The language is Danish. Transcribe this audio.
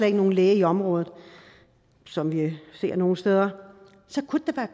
ikke nogen læge i området som vi ser nogle steder så kunne det da